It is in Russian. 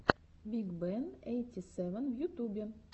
биг бен эйти сэвэн в ютубе